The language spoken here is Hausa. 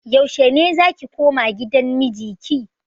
Yaushe ne zaki koma gidan miji ki?